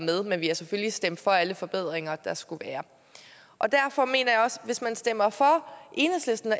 men vi har selvfølgelig stemt for alle forbedringer der skulle være derfor mener jeg også at hvis man stemmer for enhedslisten og